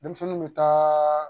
Denmisɛnninw bɛ taa